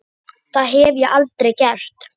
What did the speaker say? Það hef ég aldrei gert.